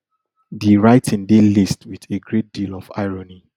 di writing dey laced wit a great deal of irony